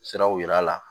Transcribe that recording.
Siraw yir'a la